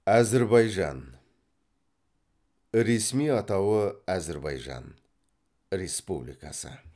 әзірбайжан ресми атауы әзірбайжан республикасы